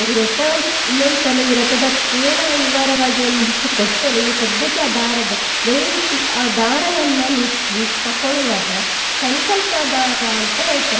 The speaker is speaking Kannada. ಈ ವ್ರತ ಇನ್ನೊಂದ್ ಸಲ ಈ ವ್ರತದ ಪೂರ್ಣ ವಿವರವಾಗಿ ಒಂದು ದಿವಸ ಕೊಡ್ತೇನೆ ಈ ಸದ್ಯಕ್ಕೆ ಆ ದಾರದ ದಯವಿಟ್ಟು ಆ ದಾರವನ್ನ ನೀವು ಸ್ವೀ~ ತಕೊಳ್ಳುವಾಗ ಸಂಕಲ್ಪ ದಾರ ಅಂತ ಹೇಳ್ತಾರೆ.